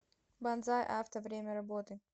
банзай авто время работы